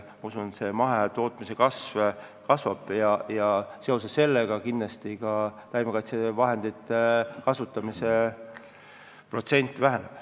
Ma usun, et mahetootmise kasv jätkub ja seoses sellega kindlasti taimekaitsevahendite kasutamine väheneb.